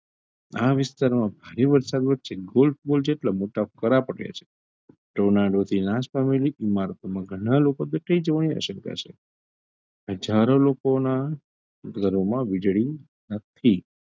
ઘણાં વિસ્તારમાં ભારે વરસાદ વચ્ચે ગોળ ગોળ જેટલાં મોટા કરા પડ્યા છે tornado થી નાસ પામેલી ઈમારતોમાં ઘરનાં લોકો દટાય જવાની આશંકા છે હજારો લોકોનાં ઘરોમાં વીજળી નથી.